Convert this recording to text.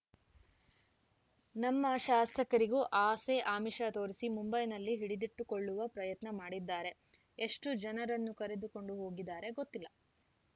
ನಮ್ಮ ಶಾಸಕರಿಗೂ ಆಸೆ ಆಮಿಷ ತೋರಿಸಿ ಮುಂಬೈನಲ್ಲಿ ಹಿಡಿದಿಟ್ಟುಕೊಳ್ಳುವ ಪ್ರಯತ್ನ ಮಾಡಿದ್ದಾರೆ ಎಷ್ಟುಜನರನ್ನು ಕರೆದುಕೊಂಡು ಹೋಗಿದ್ದಾರೆ ಗೊತ್ತಿಲ್ಲ